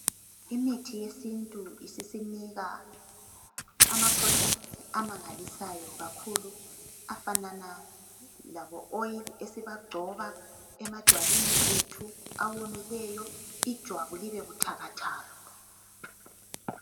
imithi yesintu ama products amangalisayo kakhulu afanana labo oil esiba gcoba amajwabini ethu awomileyo ijwabu libe buthakathaka